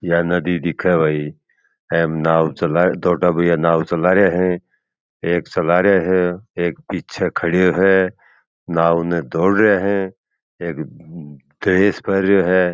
या नदी दिखे भाई एम नाव चला छोटा भैया नाव चला रहिया है एक चला रिया है एक पीछे खड़यो है नाव ने दौड़ रहे है एक है।